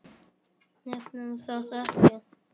Nefnum það ekki.